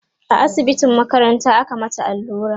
a asibitin makaranta aka mata allura